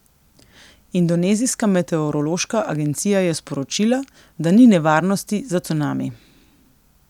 Indonezijska meteorološka agencija je sporočila, da ni nevarnosti za cunami.